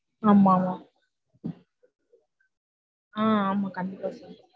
ஆமா ஆமா ஆஹ் கண்டீப்பா எடுக்கனும்